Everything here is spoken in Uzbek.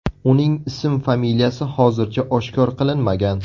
Uning ism-familiyasi hozircha oshkor qilinmagan.